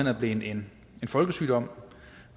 er blevet en folkesygdom